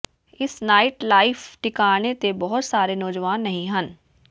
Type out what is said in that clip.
ਇਸ night life ਟਿਕਾਣੇ ਤੇ ਬਹੁਤ ਸਾਰੇ ਨੌਜਵਾਨ ਨਹੀਂ ਹਨ